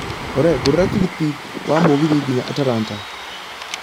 olly ngũrĩra tigiti wa mũgithi nginya atlanta